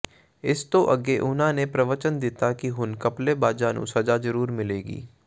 ਇਸ ਤੋ ਅੱਗੇ ਉਨ੍ਹਾਂ ਨੇ ਪ੍ਰਵਚਨ ਦਿੱਤਾ ਕਿ ਹੁਣ ਘਪਲੇਬਾਜ਼ਾਂ ਨੂੰ ਸਜ਼ਾ ਜ਼ਰੂਰ ਮਿਲੇਗੀ